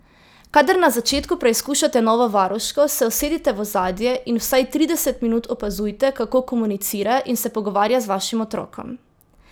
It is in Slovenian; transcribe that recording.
Kadar na začetku preizkušate novo varuško, se usedite v ozadje in vsaj trideset minut opazujte, kako komunicira in se pogovarja z vašim otrokom.